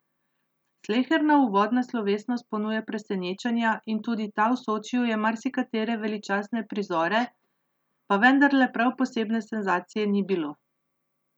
Sleherna uvodna slovesnost ponuja presenečenja in tudi ta v Sočiju je marsikatere veličastne prizore, pa vendarle prav posebne senzacije ni bilo.